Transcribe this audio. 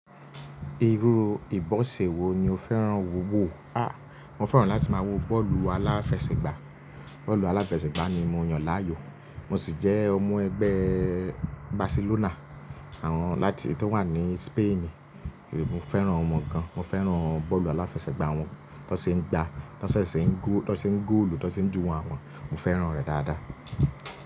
Irú ìbọ̀ṣẹ wò ní o fẹ́ràn wò wò? A! Mo fẹ́ràn láti máa wo bọ́ọ̀lù aláfẹsẹ̀gbá, bọ́ọ̀lù aláfẹsẹ̀gbá ni mo yàn láàyò. Mo sì jẹ́ ọmọ ẹgbẹ́ Barcelona, àwọn láti tó wà ní Spain. Mo fẹ́ràn wan gan, mo fẹ́ràn bọ́ọ̀lù aláfẹsẹ̀gbá wọn, tó ṣe é gba, tó ṣe é góòlù, tó ṣe ń júwo wọn, mo fẹ́ràn rẹ̀ dáadáa.